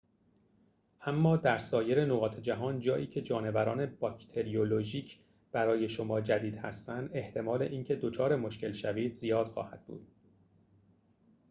اما در سایر نقاط جهان جایی‌که جانوران باکتریولوژیک برای شما جدید هستند احتمال اینکه دچار مشکل شوید زیاد خواهد بود